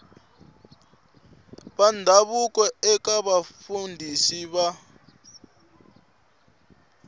va ndhavuko eka mafambiselo ya